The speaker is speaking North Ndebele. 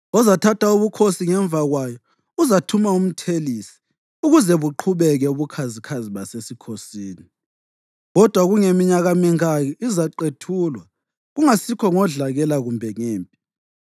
Ozathatha ubukhosi ngemva kwayo uzathuma umthelisi ukuze buqhubeke ubukhazikhazi basesikhosini. Kodwa kungeminyaka mingaki izaqethulwa, kungasikho ngodlakela kumbe empini.